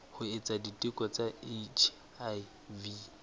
ho etsa diteko tsa hiv